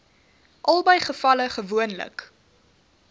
albei gevalle gewoonlik